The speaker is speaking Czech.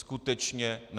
Skutečně ne.